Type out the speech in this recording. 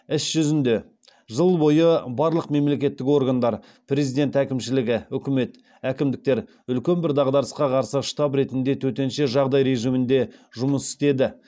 іс жүзінде жыл бойы барлық мемлекеттік органдар президент әкімшілігі үкімет әкімдіктер үлкен бір дағдарысқа қарсы штаб ретінде төтенше жағдай режимінде жұмыс істеді